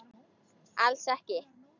Alls ekki.